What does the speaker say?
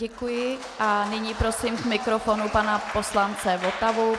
Děkuji a nyní prosím k mikrofonu pana poslance Votavu.